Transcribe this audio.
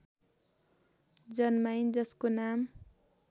जन्माइन् जसको नाम